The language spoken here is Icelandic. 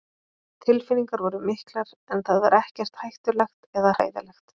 Tilfinningar voru miklar en það var ekkert hættulegt eða hræðilegt.